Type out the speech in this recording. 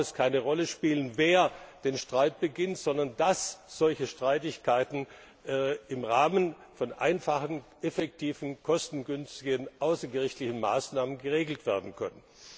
Im Grunde darf es keine Rolle spielen, wer den Streit beginnt, sondern dass solche Streitigkeiten im Rahmen von einfachen, effektiven, kostengünstigen außergerichtlichen Maßnahmen geregelt werden können.